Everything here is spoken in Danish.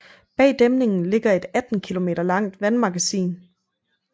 Bag dæmningen ligger et 18 kilometer langt vandmagasin